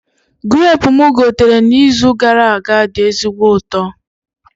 Grapu mụ gotere na izu gara aga dị ezigbo ụtọ